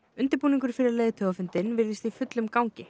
undirbúningur fyrir leiðtogafundinn virðist í fullum gangi